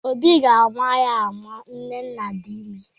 Obi ga-ama ya ma nnenna dị ime